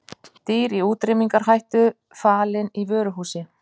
Dýr í útrýmingarhættu falin í vöruhúsi